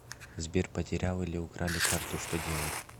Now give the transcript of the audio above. сбер потерял или украли карту что делать